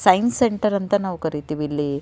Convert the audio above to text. Science centre ಅಂತ ನಾವು ಕರೀತೀವಿ ಇಲ್ಲಿ.